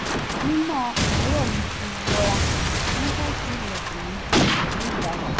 nínà àárọ̀ mi ti wọra nígbà tí ilẹ̀kùn mí dún pẹ̀lú ìyanu